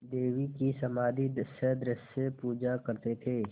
देवी की समाधिसदृश पूजा करते थे